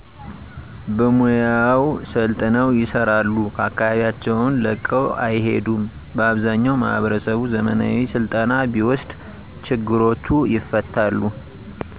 በሙያው ሰልጥነው ይሰራሉ አከባቢያቸውን ለቀው አይሄዱም በአብዛኛው ማህበረሰቡ ዘመናዊ ስልጠና ቢወስድ ችግሮቹ ይፈታሉ።